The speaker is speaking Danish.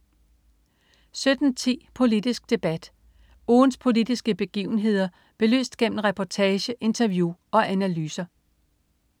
17.10 Politisk Debat. Ugens politiske begivenheder belyst gennem reportage, interview og analyser